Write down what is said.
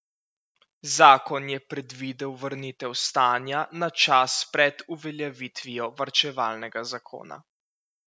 Zakon je predvidel vrnitev stanja na čas pred uveljavitvijo varčevalnega zakona.